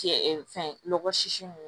Cɛ fɛn lɔgɔ sisi nunnu